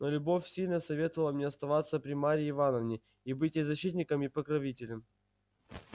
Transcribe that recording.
но любовь сильно советовала мне оставаться при марье ивановне и быть ей защитником и покровителем